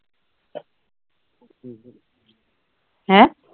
ਹੈਂ